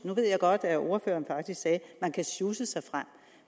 nu ved jeg godt at ordføreren faktisk sagde at man kan sjusse sig frem